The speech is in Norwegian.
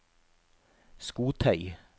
skotøy